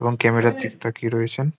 এবং ক্যামেরার দিকে তাকিয়ে রয়েছেন।